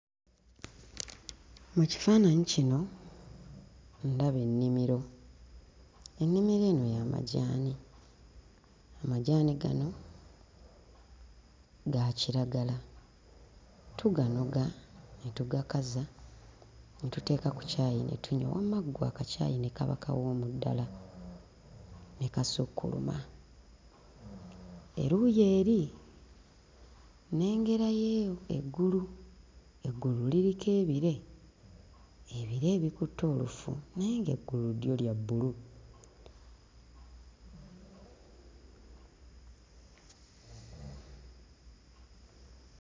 Mu kifaananyi kino ndaba ennimiro. Ennimiro eno ya majaani. Amajaani gano ga kiragala. Tuganoga ne tugakaza ne tuteeka ku caayi ne tunywa wamma ggwe akacaayi ne kaba kawoomu ddala ne gasukkuluma. Eruuyi eri nnengerayo eggulu; eggulu liriko ebire, ebire ebikutte olufu naye ng'eggulu lyo lya bbulu.